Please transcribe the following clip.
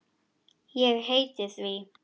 Ég heiti því.